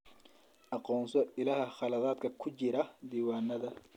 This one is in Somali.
Aqoonso ilaha khaladaadka ku jira diiwaannada.